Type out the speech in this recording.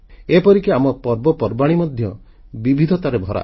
ଏପରିକି ଆମ ପର୍ବପର୍ବାଣୀ ମଧ୍ୟ ବିବିଧତାରେ ଭରା